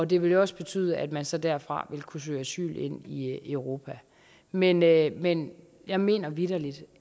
det ville jo også betyde at man så derfra ville kunne søge asyl ind i europa men jeg men jeg mener vitterlig